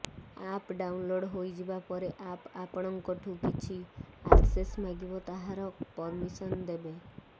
app download ହୋଇଯିବା ପରେ app ଆପଣଙ୍କଠୁ କିଛି ଆକ୍ସେସ ମାଗିବ ତାହାର ପରମିଶନ ଦେବେ